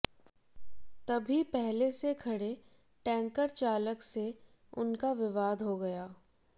तभी पहले से खड़े टैंकर चालक से उनका विवाद हो गया